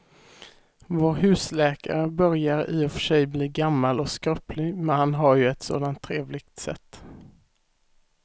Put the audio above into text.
Vår husläkare börjar i och för sig bli gammal och skröplig, men han har ju ett sådant trevligt sätt!